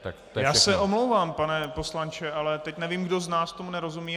Já se omlouvám, pane poslanče, ale teď nevím, kdo z nás tomu nerozumí.